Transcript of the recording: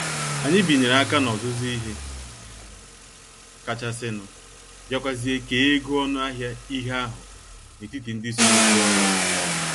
Anyị binyere aka n' ọzụzụ ihe kachasinu, biakwazie kee ego ọnụ ahịa ihe ahụ n'etiti ndị soro zụọ ya